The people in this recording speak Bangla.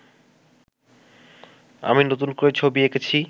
আমি নতুন করে ছবি এঁকেছি